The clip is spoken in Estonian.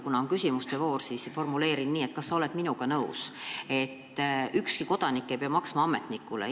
Kuna on küsimuste voor, siis formuleerin küsimuse nii: kas sa oled minuga nõus, et ükski kodanik ei pea maksma ametnikule?